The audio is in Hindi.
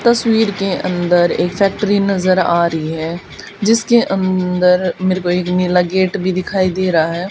तस्वीर के अंदर एक फैक्ट्री नजर आ रही है जिसके अंदर मेरे को एक नीला गेट भी दिखाई दे रहा है।